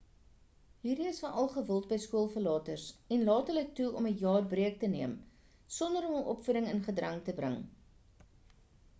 hierdie is veral gewild by skool verlaters en laat hul toe om 'n jaar breek te neem sonder om hul opvoending in gedrang te bring